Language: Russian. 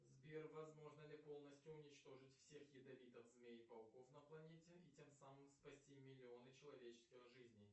сбер возможно ли полностью уничтожить всех ядовитых змей и пауков на планете и тем самым спасти миллионы человеческих жизней